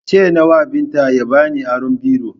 Ce newa Binta ya bani aron biro